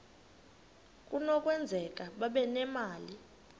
kunokwenzeka babe nemali